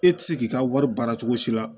E ti se k'i ka wari baara cogo si la